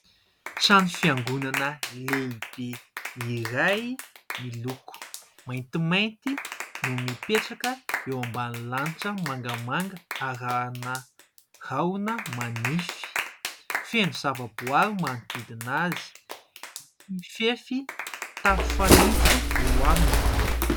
Trano fiangonana lehibe iray miloko maintimainty no mipetraka eo ambany lanitra mangamanga arahana rahona manify. Feno zava-boaary manodidina azy. Mifefy tafo fanitso eo aminy.